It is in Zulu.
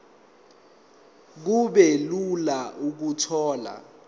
kube lula ukuthola